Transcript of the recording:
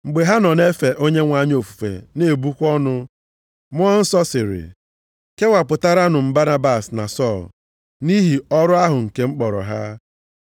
Mgbe ha nọ na-efe Onyenwe anyị ofufe na-ebukwa ọnụ, Mmụọ Nsọ sịrị, “Kewapụtaranụ m Banabas na Sọl, nʼihi ọrụ ahụ nke m kpọrọ ha.”